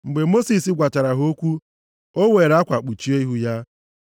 Mgbe Mosis gwachara ha okwu, o weere akwa kpuchie ihu ya.